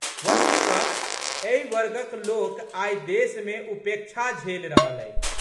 वस्तुतः एहि वर्गक लोक आइ देशमे उपेक्षा झेलि रहल अछि।